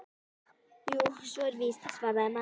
Jú, svo er víst- svaraði maðurinn.